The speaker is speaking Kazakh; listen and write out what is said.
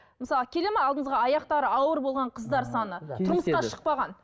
мысалы келеді ме алдыңызға аяқтары ауыр болған қыздар саны тұрмысқа шықпаған